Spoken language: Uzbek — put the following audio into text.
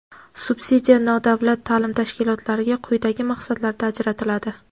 Subsidiya nodavlat ta’lim tashkilotlariga quyidagi maqsadlarda ajratiladi:.